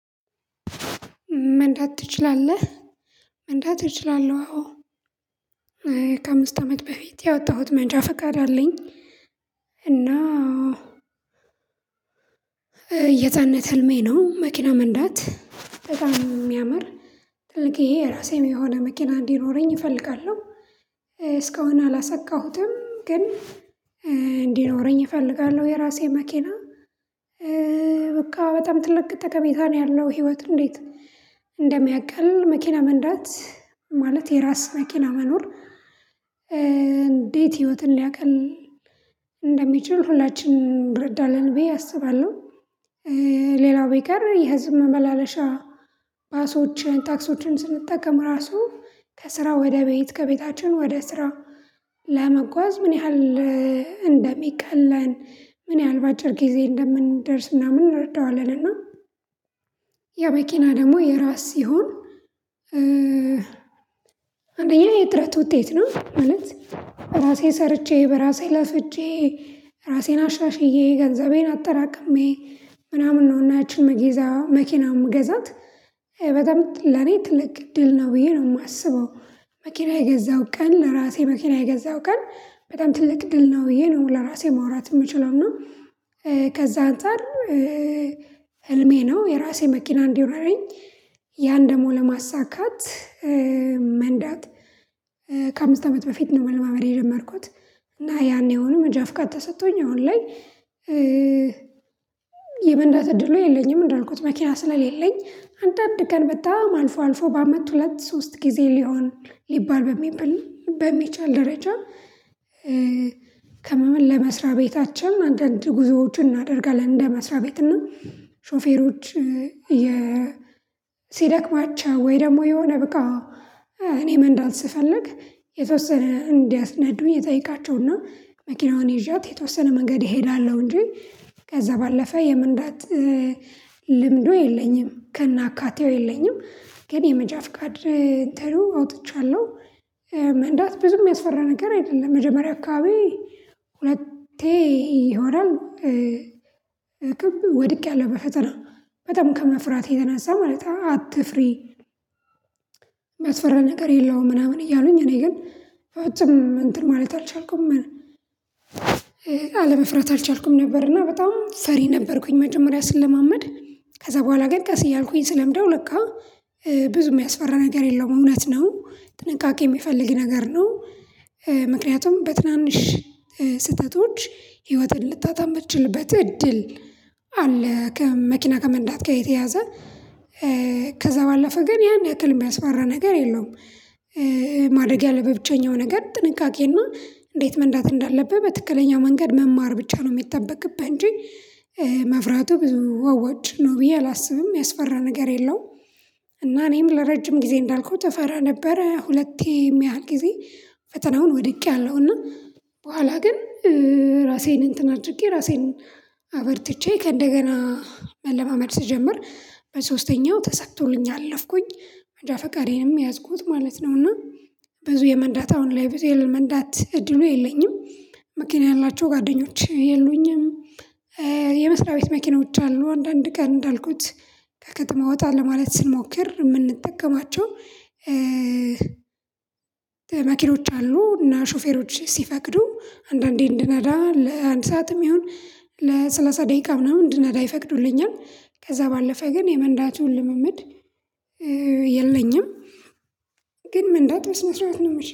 "መንዳት ትችላለህ?" መንዳት እችላለሁ አዎ። ከአምስት አመት በፊት ያወጣሁት መንጃ ፈቃድ አለኝ፤ እና የህጻንነት ህልሜ ነው መኪና መንዳት በጣም የሚያምር ትልቅዬ የራሴም የሆነ መኪና እንዲኖረኝ እፈልጋለሁ። እስካሁን አላሳካሁትም ግን እንዲኖረኝ እፈልጋለሁ የራሴ መኪና በቃ በጣም ትልቅ ተቀሜታ ነው ያለው ህይወት እንዴት እንደሚያቀል መኪና መንዳት ማለት የራስ መኪና መኖር ህይወትን ሊያቅል እንደሚችል ሁላችንም እረዳለን ብዬ አስባለሁ። ሌላው ቢቀር የህዝብ መመላለሻ ባሶችን ታክሲዎችን ስንጠቀም ራሱ ከስራ ወደ ቤት ከቤታችን ወደ ስራ ለመጓዝ ምን ያህል እንደሚቀለን ምን ያህል በአጭር ጊዜ እንደምንደርስ ምናምን እንረዳዋለን እና ያው መኪና ደግሞ የራስ ሲሆን አንደኛ የጥረት ውጤት ነው ማለት ራሴ ሰርቼ በራሴ ለፍቼ ራሴን አሻሽዬ ገንዘቤን አጠራቅሜ ምናምን ነው እና ያቺን መግዛ መኪና ምገዛት በጣም ለኔ ትልቅ እድል ነው ብዬ ነው የማስበው። መኪና የገዛው ቀን ለራሴ መኪና የገዛው ቀን በጣም ትልቅ ድል ነው ብዬ ነው ለራሴ ማውራት የምችለው፤ እና ከዛ አንፃር ህልሜ ነው የራሴ መኪና እንዲኖረኝ ያን ደግሞ ለማሳካት መንዳት ከአምስት አመት በፊት ነው መለማመድ የጀመርኩት እና ያኔውኑ መንጃ ፍቃድ ተሰጥቶኝ አሁን ላይ የመንዳት እድሉ የለኝም እንዳልኩት መኪና ስለሌለኝ አንዳንድ ቀን በጣም አልፎ አልፎ በአመት ሁለት ሶስት ጊዜ ሊሆን ሊባል በሚባል በሚቻል ደረጃ ከመመል ለመስሪያ ቤታችን አንዳንድ ጉዞዎችን እናደርጋለን እንደ መስሪያ ቤት እና ሾፌሮች ሲደክማቸው ወይ ደግሞ የሆነ በቃ እኔ መንዳት ስፈልግ የተወሰነ እንዲያስነድቡ እየጠየቃቸው እና መኪናውን ይዣት የተወሰነ መንገድ እሄዳለሁ እንጂ ከዛ ባለፈ የመንዳት ልምዱ የለኝም ከናአካቴው የለኝም፤ ግን የመንጃ ፍቃድ እንትኑ አውጥቻለሁ። መንዳት ብዙ የሚያስፈራ ነገር አይደለም መጀመሪያ አካባቢ ሁለቴ ይሆናል ወድቄያለሁ በፈተና በጣም ከመፍራቴ የተነሳ ማለት አትፍሪ የሚያስፈራ ነገር የለውም ምናምን እያሉኝ እኔ ግን ፍጹም እንትን ማለት አልቻልኩም አልቻልኩም ነበር እና በጣም ፈሪ ነበርኩኝ መጀመሪያ ስለማመድ ከዛ በኋላ ግን ቀስ እያልኩኝ ስለምደው ለካ ብዙ የሚያስፈራ ነገር የለውም፤ እውነት ነው ጥንቃቄ የሚፈልግ ነገር ነው፤ ምክንያቱም በትናንሽ ስህተቶች ህይወትን ልታጣ ምትችልበት እድል አለ ከመኪና ከመንዳት ጋር የተያያዘ ከዛ ባለፈ ግን ያን ያክል የሚያስፈራ ነገር የለውም። ማድረግ ያለብህ ብቸኛው ነገር ጥንቃቄ እና እንዴት መንዳት እንዳለብህ በትክክለኛው መንገድ መማር ብቻ ነው የሚጠበቅብህ እንጂ፤ መፍራቱ ብዙ አዋጭ ነው ብዬ አላስብም የሚያስፈራ ነገር የለውም፤ እና እኔም ለረጅም ጊዜ እንዳልኩት እፈራ ነበረ ሁለቴ የሚያህል ጊዜ ፈተናውን ወድቄያለሁ፤ እና በኋላ ግን ራሴን እንትን አድርጌ ራሴን አበርትቼ ከእንደገና መለማመድ ስጀምር በሶስተኛው ተሳክቶልኝ አለፍኩኝ። መንጃ ፈቃዴንም ያዝኩት ማለት ነው፤ እና ብዙ የመንዳት አሁን ላይ ብዙ የመንዳት እድሉ የለኝም። መኪና ያላቸው ጓደኞች የሉኝም። የመስሪያ ቤት መኪናዎች አሉ አንዳንድ ቀን እንዳልኩት ከከተማ ወጣ ለማለት ስንሞክር የምንጠቀማቸው መኪኖች አሉ እና ሾፌሮች ሲፈቅዱ አንዳንዴ እንድነዳ ለአንድ ሰዓትም ይሁን ለሰላሳ ደቂቃ ምናምን እንድነዳ ይፈቅዱልኛል። ከዛ ባለፈ ግን የመንዳቱን ልምምድ የለኝም። ግን መንዳት መስራት ነው የምች